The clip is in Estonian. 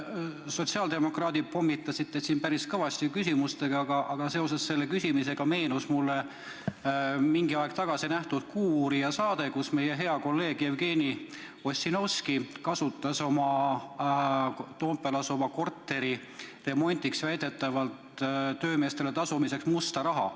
Sotsiaaldemokraadid pommitasid teid päris kõvasti küsimustega, aga seoses selle küsimusega meenus mulle mingi aeg tagasi nähtud "Kuuuurija" saade, kus meie hea kolleeg Jevgeni Ossinovski kasutas väidetavalt oma Toompeal asuva korteri remondi eest töömeestele tasumiseks musta raha.